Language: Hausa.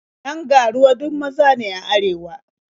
Yan ga-ruwa duk maza ne a arewa.